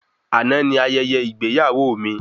Àná ni ayẹyẹ ìgbéyàwó mí